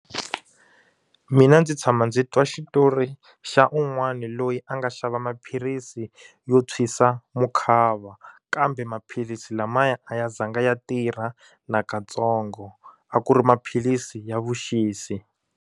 Mina ndzi tshama ndzi twa xitori xa un'wana loyi a nga xava maphilisi yo tshwisa mukhava kambe maphilisi lamaya a ya zanga ya tirha nakatsongo a ku ri maphilisi ya vuxisi.